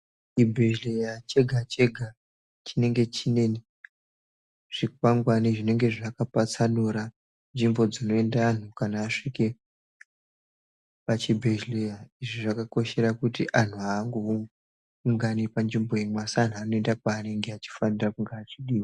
Chibhehleya chega chega chinenge chine zvikwangani zvinenge zvakapatsanura anhu kana asvike pachibhehleya. Izvi zvakakoshera kuti anhu aangoungani panzvimbo imwe asi anhu anoenda kwanenge achifanira achidiwa.